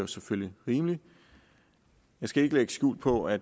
selvfølgelig rimeligt jeg skal ikke lægge skjul på at